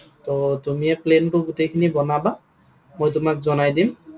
ত তুমিয়ে plan টো গোটেইখিনি বনাবা। মই তোমাক জনাই দিম।